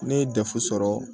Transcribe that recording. Ne ye dɛfu sɔrɔ